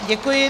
Děkuji.